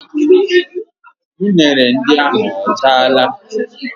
Unere ndị ahụ ọ chaala?